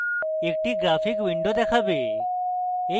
একটি graphic window দেখাবে